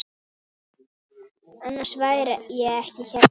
Annars væri ég ekki hérna.